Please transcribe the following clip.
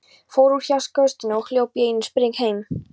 Fór úr hjá Gasstöðinni og hljóp í einum spreng heim.